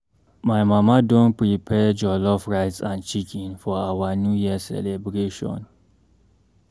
My mama don prepare jollof rice and chicken for our New Year celebration.